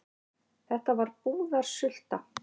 Þetta var búðarsulta.